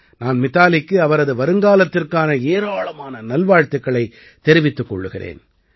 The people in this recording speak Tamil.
நான் மிதாலிக்கு அவரது வருங்காலத்திற்கான ஏராளமான நல்வாழ்த்துக்களைத் தெரிவித்துக் கொள்கிறேன்